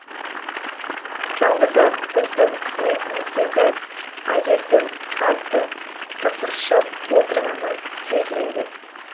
жалғыз ақ біздің қызметіміздегі әйелдің қатты тықыршып отырғаны сезіледі